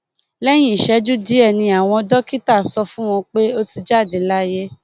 lẹyìn ìṣẹjú díẹ ni àwọn dókítà sọ fún wọn pé ó ti jáde láyé